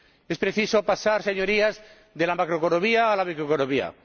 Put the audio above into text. Es preciso pasar, Señorías, de la macroeconomía a la microeconomía.